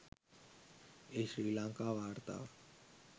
එහි ශ්‍රී ලංකා වාර්තාව